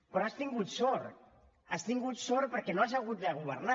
però has tingut sort has tingut sort perquè no has hagut de governar